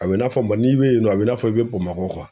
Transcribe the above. A bɛ i n'a fɔ mɔ n'i be yen nɔ a bɛ i n'a fɔ i be Bamakɔ .